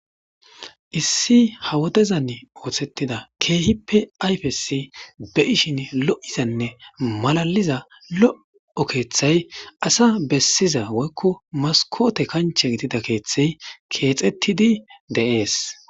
Issi ha wodezanni oththetida kehippe ayifes be'ishshinn lo'izzanne malaliza lo'o keththayi asa bessiza woyikko masikote kanchche gidida keththayi kexxettidi de'ees.